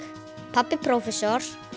pabbi prófessor